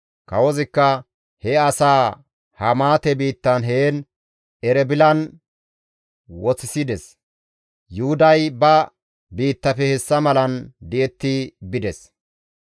Kawozikka he asaa Hamaate biittan heen Erebilan woththisides. Yuhuday ba biittafe hessa malan di7etti bides.